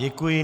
Děkuji.